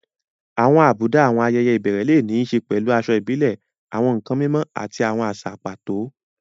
Àwọn àbùdá àwọn ayẹyẹ ìbẹ̀rẹ̀ lè ní í ṣe pẹ̀lú aṣọ ìbílẹ̀, àwọn nkan mímọ́, àti àwọn àṣà pàtó.